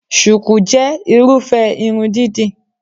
Shùkú jẹ́ Irúfẹ́ irun dídì